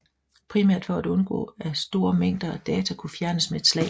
Primært for at undgå at store mængder data kunne fjernes med et slag